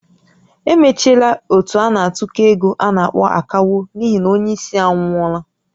Emechiela ót a na-atụkọ égo a na-akpọ "Akawo" n'ihi na onye isi anwụọla